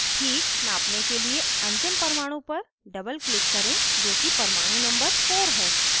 ठीक नापने के लिए अंतिम परमाणु पर doubleclick करें जो कि परमाणु number 4 है